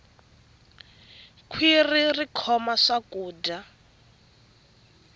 khwirhi ri khoma swakudya